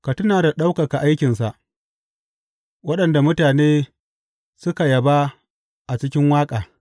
Ka tuna ka ɗaukaka aikinsa, waɗanda mutane suka yaba a cikin waƙa.